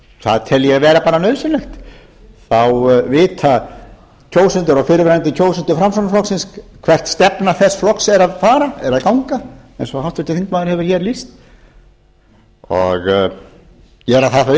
það tel ég vera bara nauðsynlegt þá vita kjósendur og fyrrverandi kjósendur framsóknarflokksins hvert stefna þess flokks er að ganga eins og háttvirtur þingmaður hefur hér lýst og gera það þá